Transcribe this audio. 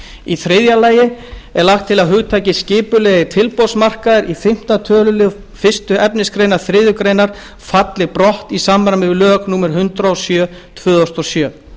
fjárhæð þriðja þá er lagt til að hugtakið skipulegir tilboðsmarkaðir í fimmta tölulið fyrstu efnismgr þriðju grein falli brott í samræmi við lög númer hundrað og sjö tvö þúsund og sjö